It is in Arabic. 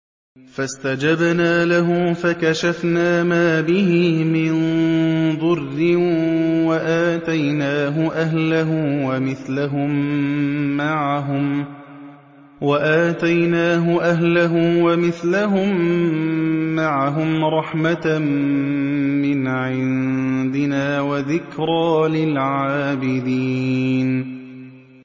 فَاسْتَجَبْنَا لَهُ فَكَشَفْنَا مَا بِهِ مِن ضُرٍّ ۖ وَآتَيْنَاهُ أَهْلَهُ وَمِثْلَهُم مَّعَهُمْ رَحْمَةً مِّنْ عِندِنَا وَذِكْرَىٰ لِلْعَابِدِينَ